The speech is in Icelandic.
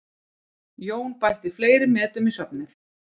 Jón bætti fleiri metum í safnið